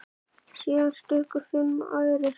Síðan stukku fimm aðrir.